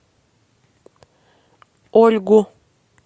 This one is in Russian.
ольгу